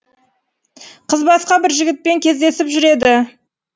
қыз басқа бір жігітпен кездесіп жүреді